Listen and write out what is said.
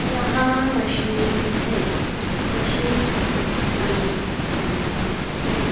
यहां मशीन है मशीन का रंग काला है।